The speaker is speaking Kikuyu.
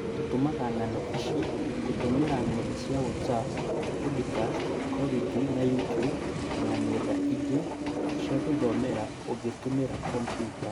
Tũtũmaga ng'ano ici gũtũmĩra ng'enda cia whatsapp, podikasti, kolibri na youtube na ng'enda ingĩ cia gũthomera ũgĩtũmira kombuta